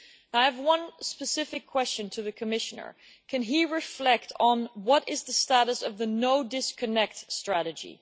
I have one specific question to the Commissioner can he reflect on what is the status of the no disconnect strategy?